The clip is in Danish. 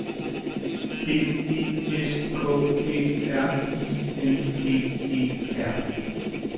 B E S K Æ R I N G E R